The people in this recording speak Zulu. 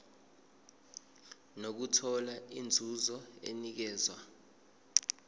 nokuthola inzuzo enikezwa